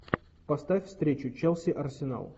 поставь встречу челси арсенал